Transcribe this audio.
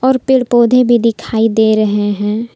और पेड़ पौधे भी दिखाई दे रहे हैं।